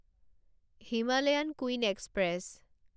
Himalayan queen express